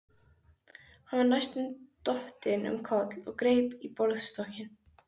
Hann var næstum dottinn um koll og greip í borðstokkinn.